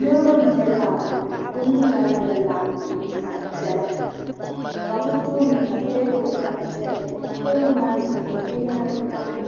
Niriba bɛ lab ni bɛ zaa yɛla lab kɔti zaɣ'piɛla ka bɛ tooni ka teebuli zaya teebuli maa zuɣu binyahiri tamiya